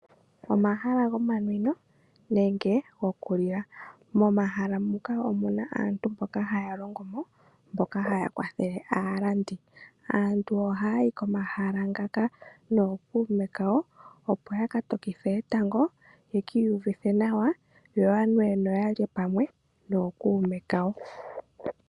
Omahala gomanwino nenge goku lila. Momahala muka omuna aantu mboka haya longo mo mboka haya kwathele aalandi. Aantu ohaya yi komahala ngaka nookuume kawo opo ya ka tokithe etango, ye kiiyuvithe nawa yo yanwe noya lye pamwe nookuume kawo.